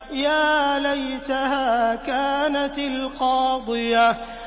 يَا لَيْتَهَا كَانَتِ الْقَاضِيَةَ